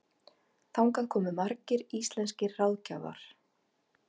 Þangað komu margir íslenskir ráðgjafar.